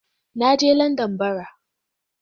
Na je Landan bara.